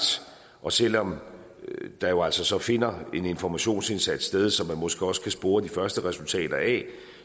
og selv om der jo altså finder en informationsindsats sted som man måske også kan spore de første resultater af